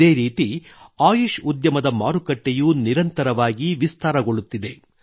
ಇದೇ ರೀತಿ ಆಯುಷ್ ಉದ್ಯಮದ ಮಾರುಕಟ್ಟೆಯೂ ನಿರಂತರವಾಗಿ ವಿಸ್ತಾರಗೊಳ್ಳುತ್ತಿದೆ